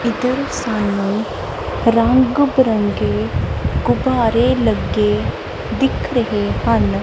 ਇੱਧਰ ਸਾਨੂੰ ਰੰਗ ਬਿਰੰਗੇ ਗੁੱਬਾਰੇ ਲੱਗੇ ਦਿੱਖ ਰਹੇ ਹਨ।